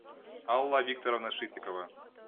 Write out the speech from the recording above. алла викторовна шитикова